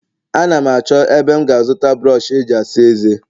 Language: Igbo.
Ana m achọ ebe m ga-azụta brọsh eji asa eze